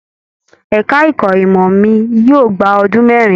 Ẹka ẹ̀kọ́ ìmọ mí yóò gbà ọdún mẹrin.